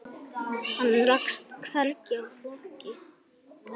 Hann rakst hvergi í flokki.